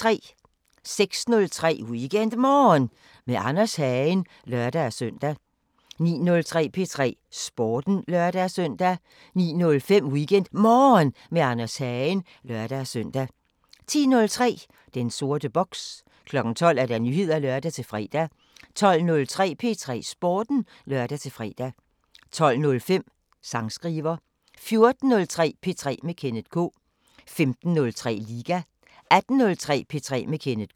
06:03: WeekendMorgen med Anders Hagen (lør-søn) 09:03: P3 Sporten (lør-søn) 09:05: WeekendMorgen med Anders Hagen (lør-søn) 10:03: Den sorte boks 12:00: Nyheder (lør-fre) 12:03: P3 Sporten (lør-fre) 12:05: Sangskriver 14:03: P3 med Kenneth K 15:03: Liga 18:03: P3 med Kenneth K